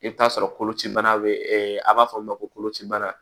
I bɛ t'a sɔrɔ kolocibana bɛ ɛ a b'a fɔ min ma ko koloci bana